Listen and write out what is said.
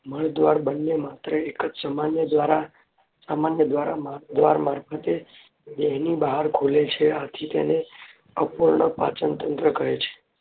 મળદ્વાર બને માત્ર એક જ સામાન્ય દ્વાર મારફતે દેહની બહાર ખુલે છે આથી તેને અપૂર્ણ પાચનતંત્ર કહે છે.